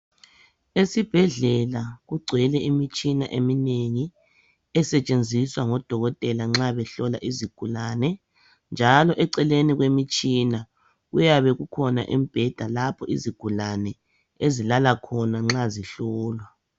Esibhedlela kugcwele imitshina eminengi esetshenziswa ngodokotela nxa behlola izigulane. Njalo eceleni kwemitshina kuyabe kukhona imibheda lapha izigulane ezilala khona nxa zihlolwa.